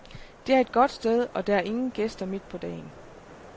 Det er et godt sted, og der er ingen gæster midt på dagen.